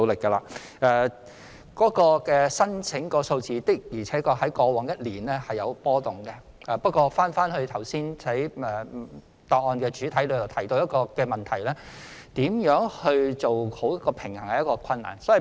外傭工作簽證的申請數字的確在過往一年出現波動，不過正如剛才主體答覆所提到，如何做好平衡是困難的。